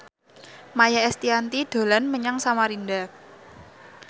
Maia Estianty dolan menyang Samarinda